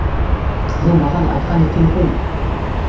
бұл маған айтқан екен ғой